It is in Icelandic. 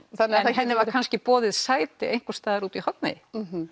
henni var kannski boðið sæti einhvers staðar út í horni